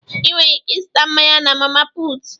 Inwere ike ịzụta mmanya na Mama puutu.